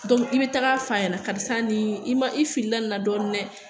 Dɔn i be taga f'a ɲɛna karisa nin i ma i filila nin na dɔɔnin dɛ